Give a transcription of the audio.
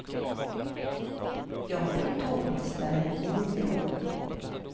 Jag har varit tågmästare i nio år.